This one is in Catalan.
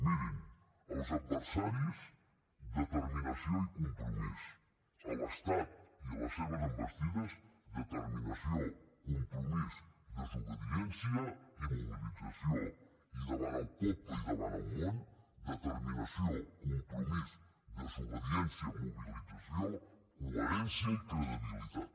mirin als adversaris determinació i compromís a l’estat i a les seves envestides determinació compromís desobediència i mobilització i davant el poble i davant el món determinació compromís desobediència mobilització coherència i credibilitat